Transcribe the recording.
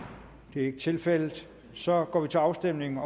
det er ikke tilfældet så går vi til afstemning